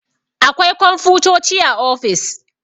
Akwai komfutoci a ofis